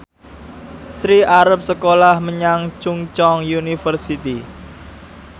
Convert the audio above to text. Sri arep sekolah menyang Chungceong University